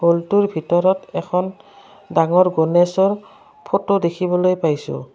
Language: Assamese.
ৰূমটোৰ ভিতৰত এখন ডাঙৰ গণেশৰ ফটো দেখিবলৈ পাইছোঁ।